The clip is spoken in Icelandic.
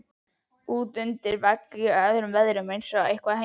andi útundir vegg í öllum veðrum eins og eitthvað heim